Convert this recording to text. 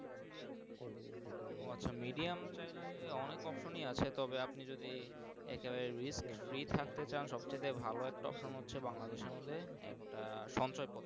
আচ্ছা Medium হলে অনেক Option এ আছে তবে আপনি যদি রি থাকতে চান সব চাইতে ভালো একটা Option হচ্ছে বাংলাদেশএর মর্ধে একটা সঞ্চয় পত্র।